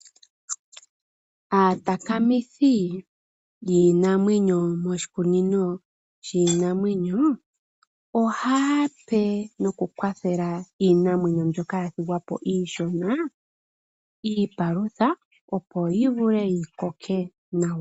Aatakamithi yiinamwenyo moshikunino shiinamenyo, ohaape nokukwathela iinamwenyo mbyoka yathigwapo iishona, iipalutha opo yivule yikoke nawa.